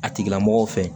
A tigila mɔgɔ fɛ